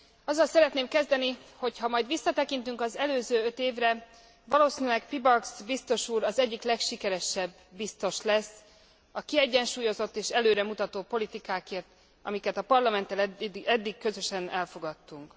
Azzal szeretném kezdeni, hogy ha majd visszatekintünk az előző öt évre, valószínűleg Pielbags biztos úr az egyik legsikeresebb biztos lesz, a kiegyensúlyozott és előremutató politikákért, amiket a Parlamenttel eddig közösen elfogadtunk.